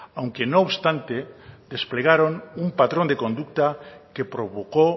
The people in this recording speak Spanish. aunque no obstante desplegaron un patrón de conducta que provocó